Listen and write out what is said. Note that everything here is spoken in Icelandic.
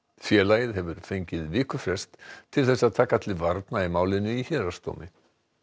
félagið hefur fengið vikufrest til þess að taka til varna í málinu í héraðsdómi